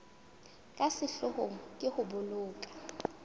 ka sehloohong ke ho boloka